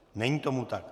Není tomu tak.